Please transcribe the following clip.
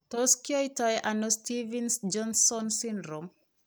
Tot kiyaitaano Stevens Johnson syndrome?